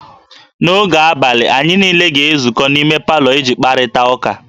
N'oge abalị, anyị niile ga-ezukọ n'ime palọ iji kparịta ụka